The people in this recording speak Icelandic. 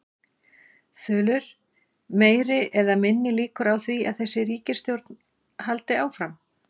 Þulur: Meiri eða minni líkur á því að þessi ríkisstjórn haldi áfram?